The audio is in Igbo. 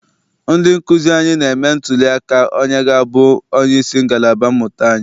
Ndị nkụzi anyị na-eme ntụli aka onye ga-abụ onyeisi ngalaba mmụta anyi.